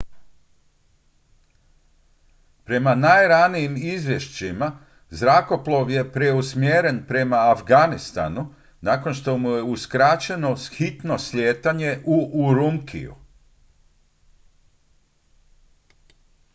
prema najranijim izvješćima zrakoplov je preusmjeren prema afganistanu nakon što mu je uskraćeno hitno slijetanje u urumqiju